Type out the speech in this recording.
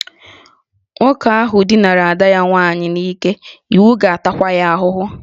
Nwoke ahụ dinara ada nwanne ya nwaanyị n'ike, iwu ga-atakwa ya ahụhụ